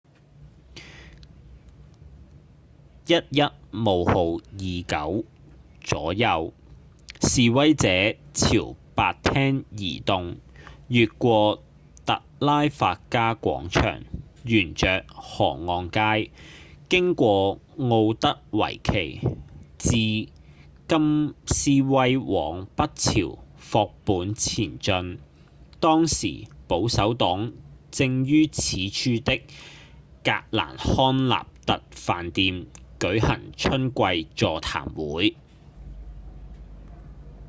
11:29 左右示威者朝白廳移動越過特拉法加廣場沿著河岸街經過奧德維奇自金斯威往北朝霍本前進當時保守黨正於此處的格蘭康納特飯店舉行春季座談會